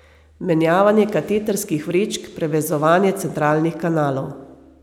Menjavanje katetrskih vrečk, prevezovanje centralnih kanalov.